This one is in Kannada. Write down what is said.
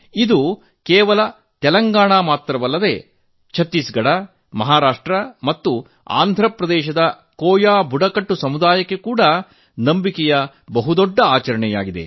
ಇದು ಕೇವಲ ತೆಲಂಗಾಣ ಮಾತ್ರವಲ್ಲ ಛತ್ತೀಸ್ ಗಢ ಮಹಾರಾಷ್ಟ್ರ ಮತ್ತು ಆಂಧ್ರ ಪ್ರದೇಶದ ಕೋಯಾ ಅದಿವಾಸಿ ಸಮುದಾಯದ ನಂಬಿಕೆಯ ದೊಡ್ಡ ಆಚರಣೆಯಾಗಿದೆ